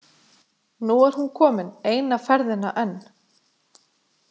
Nú er hún komin eina ferðina enn.